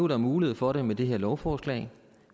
der mulighed for nu med det her lovforslag